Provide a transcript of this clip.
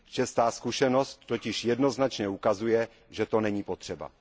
Česká zkušenost totiž jednoznačně ukazuje, že to není potřeba.